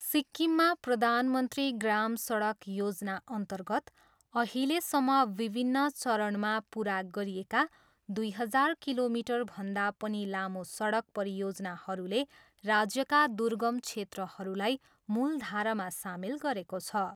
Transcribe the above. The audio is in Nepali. सिक्किममा प्रधान मन्त्री ग्राम सडक योजनाअन्तर्गत अहिलेसम्म विभिन्न चरणमा पुरा गरिएका दुई हजार किलोमिटरभन्दा पनि लामो सडक परियोजनाहरूले राज्यका दुर्गम क्षेत्रहरूलाई मूलधारामा सामेल गरेको छ।